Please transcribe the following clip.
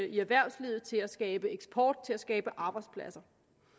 i erhvervslivet til at skabe eksport til at skabe arbejdspladser